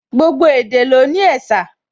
Gbogbo èdè ló ní ẹ̀sà